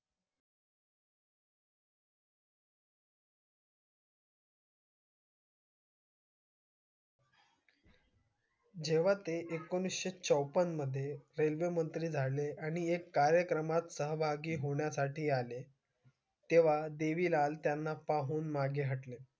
जेव्हा ते एकोणीशे चोपण मध्ये रेल्वे मंत्री झाले आणि एक कार्यक्रमात सहभागी होण्या साठी आले तेव्हा